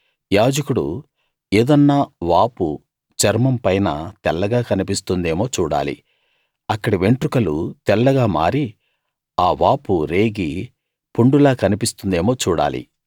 యాజకుడు ఏదన్నా వాపు చర్మంపైన తెల్లగా కన్పిస్తుందేమో చూడాలి అక్కడి వెంట్రుకలు తెల్లగా మారి ఆ వాపు రేగి పుండులా కన్పిస్తుందేమో చూడాలి